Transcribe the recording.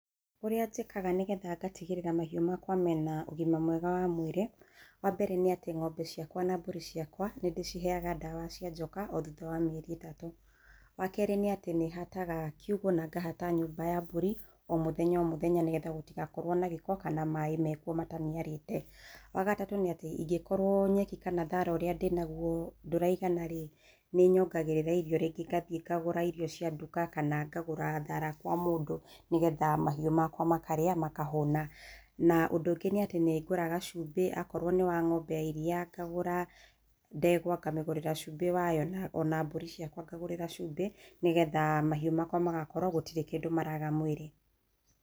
Ũrĩa njĩkaga nĩgetha ngatigĩrĩra mahĩũ makwa mena ũgima mwega wa mwĩrĩ, wambere nĩ atĩ ng'ombe ciakwa na mbũri ciakwa nĩ ndĩciheyaga ndawa cia njoka o thutha wa mĩeri itatũ. Wakerĩ nĩ atĩ nĩ hataga kiugũ na nyũmba ya mbũrĩ o mũthenya o mũthenya nĩguo gũtigakorwo na gĩko kana maĩ mekwo mataniarĩte. Wa gatatũ nĩ atĩ ingĩkorwo nyeki kana thara ũrĩa ndĩnagwo ndũraigana-rĩ, nĩ nyongagĩrĩra irio. Ringĩ ngathiĩ ngagũra irio cia nduka kana ngagũra thara kwa mũndũ, nĩgetha mahiũ makwa makarĩa makahũna. Na ũndũ ũngĩ nĩ atĩ nĩ ngũraga cumbĩ, akorwo nĩ wa ng'ombe ya iria ngagũra, ndegwa ngamĩgũrĩra cumbĩ wayo, na ona mbũri ciakwa ngacigũrĩra cumbĩ, nĩgetha mahiũ makwa magakorwo gũtirĩ kĩndũ maraga mwĩrĩ.